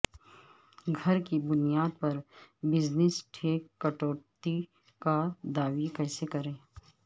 گھر کی بنیاد پر بزنس ٹیک کٹوتی کا دعوی کیسے کریں